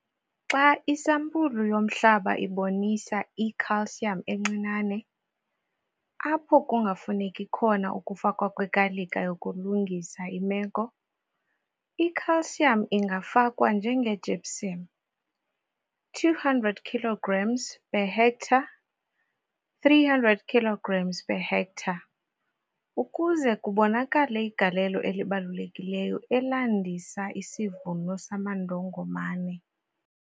Xa isampulu yomhlaba ibonisa i-Ca encinane, apho kungafuneki khona ukufakwa kwekalika yokulungisa imeko, i-Ca ingafakwa njenge-gypsum, 200 kilograms per hectare 300 kilograms per hectare ukuze kubonakale igalelo elibalulekileyo elandisa isivuno samandongomane.